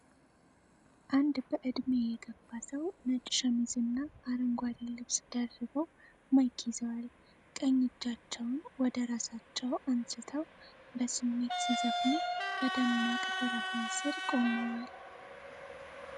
አንድ በዕድሜ የገፉ ሰው ነጭ ሸሚዝና አረንጓዴ ልብስ ደርበው ማይክ ይዘዋል። ቀኝ እጃቸውን ወደ ራሳቸው አንስተው፣ በስሜት ሲዘፍኑ በደማቅ ብርሃን ስር ቆመዋል።